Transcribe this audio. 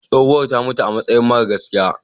Tsohuwar ta mutu amasayi matar gaskiya.